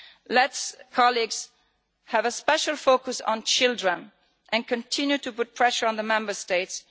Let us, colleagues, have a special focus on children and continue to put pressure on the Member States.